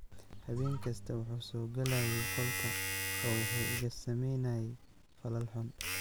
"Habeen kasta wuxuu u soo galayay qolka oo wuxuu iga sameynayay falal xun."